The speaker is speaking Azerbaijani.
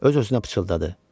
Öz-özünə pıçıldadı.